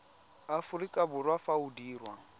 aforika borwa fa o dirwa